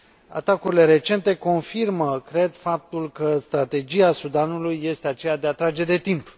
Atacurile recente confirmă, cred, faptul că strategia Sudanului este aceea de a trage de timp.